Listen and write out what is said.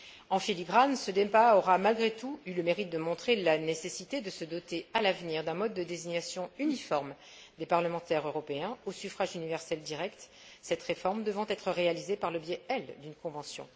En filigrane, ce débat aura malgré tout eu le mérite de montrer la nécessité de se doter, à l'avenir, d'un mode de désignation uniforme des parlementaires européens au suffrage universel direct, cette réforme devant être réalisée par le biais, elle, d'une convention.